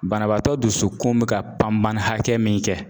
Banabaatɔ dusukun bɛ ka panpani hakɛ min kɛ.